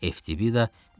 FTBida, qorxma!